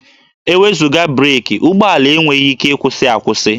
E wezuga breekị, ụgbọala enweghị ike ịkwụsị akwụsị